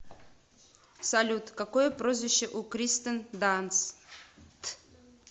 салют какое прозвище у кристен данст